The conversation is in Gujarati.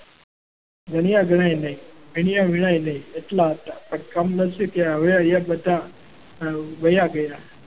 ગણ્યા ગણાય નહીં અહીંયા વિનાય નહીં એટલા હતા. પણ કમ નસીબે અહીંયા બધા વયા ગયા.